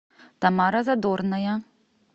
тамара задорная